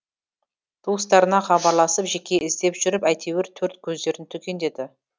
туыстарына хабарласып жеке іздеп жүріп әйтеуір төрт көздерін түгендеді